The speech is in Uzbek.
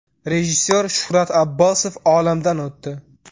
Rejissor Shuhrat Abbosov olamdan o‘tdi.